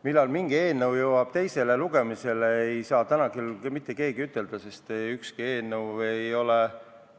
Millal mingi eelnõu jõuab teisele lugemisele, seda ei saa täna küll mitte öelda, sest ükski eelnõu ei ole